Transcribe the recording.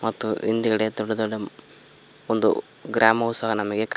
ಮತ್ತು ಹಿಂದಗಡೆ ದೊಡ್ಡ ದೊಡ್ಡ ಒಂದು ಗ್ರಾಮವು ಸಹ ನಮಗೆ ಕ--